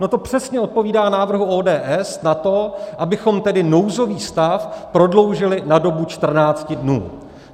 No to přesně odpovídá návrhu ODS na to, abychom tedy nouzový stav prodloužili na dobu 14 dnů.